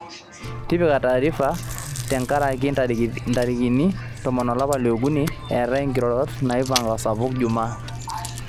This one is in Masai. tipika taarifa tenkaraki ntarikini tomon olapa liokuni eetai nkirorot naipanga osapuk Juma